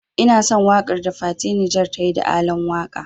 Ina son waƙar da fati Niger tayi da Alan waka.